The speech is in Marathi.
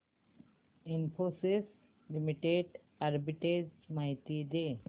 इन्फोसिस लिमिटेड आर्बिट्रेज माहिती दे